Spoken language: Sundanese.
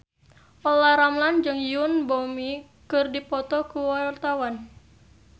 Olla Ramlan jeung Yoon Bomi keur dipoto ku wartawan